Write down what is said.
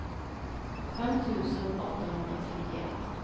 fem tusen åttahundratrettioett